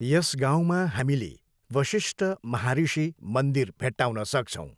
यस गाउँमा हामीले वशिष्ठ ब्रह्मऋषि मन्दिर भेट्टाउन सक्छौँ।